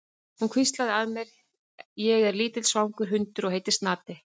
Hún hvíslaði að mér: Ég er lítill svangur hundur og heiti Snati.